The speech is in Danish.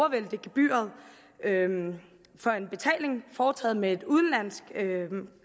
at vælte gebyret for en betaling foretaget med et udenlandsk